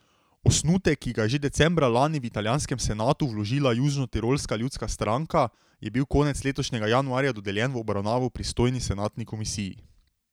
Osnutek, ki ga je že decembra lani v italijanskem senatu vložila Južnotirolska ljudska stranka, je bil konec letošnjega januarja dodeljen v obravnavo pristojni senatni komisiji.